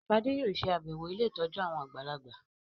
Shade yóò ṣe àbẹwò ílé ìtọjú àwọn àgbàlagbà.